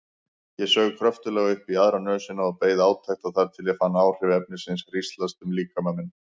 Ég saug kröftuglega upp í aðra nösina og beið átekta þar til ég fann áhrif efnisins hríslast um líkama minn.